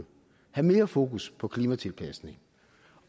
have mere fokus på klimatilpasning